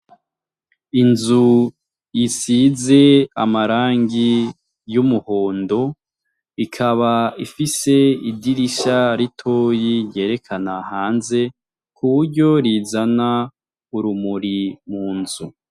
Inzu isize amarangi y'umuhondo ikaba ifise idirisha ritoyi ryerekana hanze ku buryo rizana urumuri mu nzu.